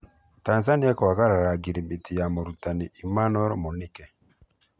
Tanzania kwagarara ngirimiti na mũrutani Emanuel Mũnike.